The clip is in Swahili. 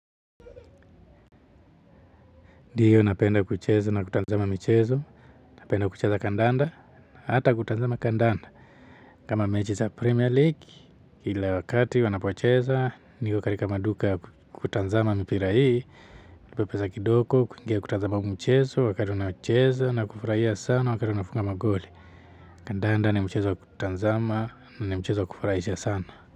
Dio napenda kucheza na kutanzama mchezo, napenda kucheza kandanda, na hata kutanzama kandanda. Kama mechi za Premier League, kila wakati wanapocheza, niko karika maduka ya kutanzama mpira hii, pepeza kidoko, kuingia kutanzama mchezo, wakari wanacheza, na kufurahia sana wakari wanafunga magoli. Kandanda ni mchezo wa kutanzama, ni mchezo wakufurahisha sana.